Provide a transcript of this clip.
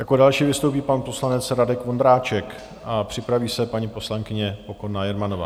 Jako další vystoupí pan poslanec Radek Vondráček a připraví se paní poslankyně Pokorná Jermanová.